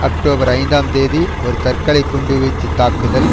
October ஐந்தாம் தேதி ஒரு தற்கலைக் குண்டு வீச்சு தாக்குதல்